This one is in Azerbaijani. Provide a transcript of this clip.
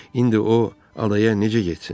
İndi o adaya necə getsin?